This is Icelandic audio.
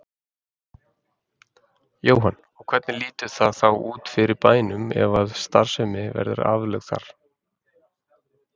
Jóhann: Og hvernig lítur það þá út fyrir bænum ef að starfsemin verði aflögð þarna?